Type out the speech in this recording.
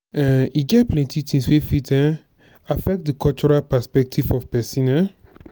um e get plenty things wey fit um affect di cultural perspective of person um